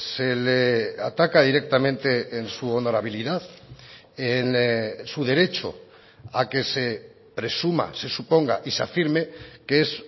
se le ataca directamente en su honorabilidad en su derecho a que se presuma se suponga y se afirme que es